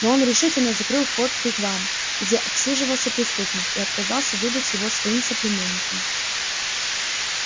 но он решительно закрыл вход в вигвам где отсиживался преступник и отказался выдать его своим соплеменникам